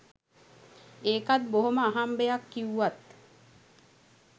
ඒකත් බොහොම අහම්බයක් කිව්වත්